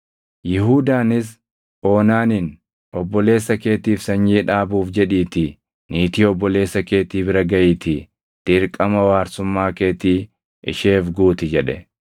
Yihuudaanis Oonaaniin, “Obboleessa keetiif sanyii dhaabuuf jedhiitii niitii obboleessa keetii bira gaʼiitii dirqama waarsummaa keetii isheef guuti” jedhe.